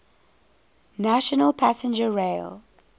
national passenger rail